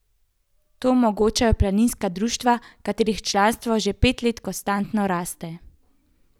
To omogočajo planinska društva, katerih članstvo že pet let konstantno rahlo raste.